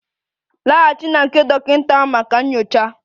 Laghachi na nke dọkịta maka nyocha!